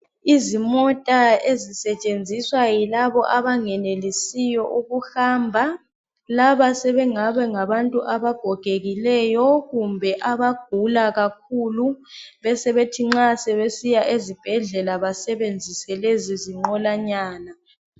Izimota ezisetshenziswa yilabo abangenelesiyo ukuhamba laba sebengabe ngabantu abagogekileyo kumbe abagula kakhulu besebethi nxa sebesiya ezibhedlela basebenzise lezi zinqolanyana